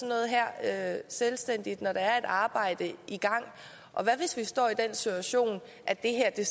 noget her selvstændigt når der er et arbejde i gang og hvad hvis vi står i den situation at det her i